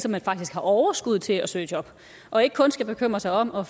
at man faktisk har overskud til at søge job og ikke kun skal bekymre sig om at